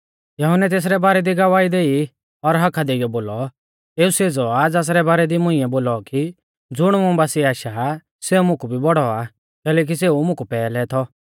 यहुन्नै तेसरै बारै दी गवाही देई और हाका देइऔ बोलौ एऊ सेज़ौ आ ज़ासरै बारै दी मुंइऐ बोलौ की ज़ुण मुं बासिऐ आशा आ सेऊ मुकु भी बौड़ौ आ कैलैकि सेऊ मुकु पैहलै थौ